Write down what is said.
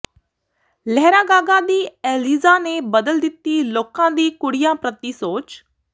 ਲਹਿਰਾਗਾਗਾ ਦੀ ਐਲੀਜ਼ਾ ਨੇ ਬਦਲ ਦਿੱਤੀ ਲੋਕਾਂ ਦੀ ਕੁੜੀਆਂ ਪ੍ਰਤੀ ਸੋਚ